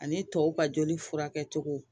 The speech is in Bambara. Ani tɔw ka joli furakɛcogo